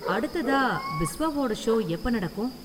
அடுத்ததா பிஸ்வாவோட ஷோ எப்ப நடக்கும்?